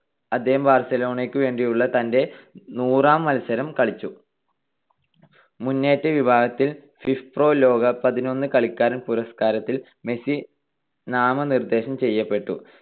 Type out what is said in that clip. അദ്ദേഹം ബാർസലോണക്ക് വേണ്ടിയുള്ള തന്റെ നൂറാം മത്സരം കളിച്ചു. മുന്നേറ്റ വിഭാഗത്തിൽ ഫിഫ്പ്രോ ലോക പതിനൊന്ന് കളിക്കാരൻ പുരസ്കാരത്തിൽ മെസ്സി നാമനിർദ്ദേശം ചെയ്യപ്പെട്ടു.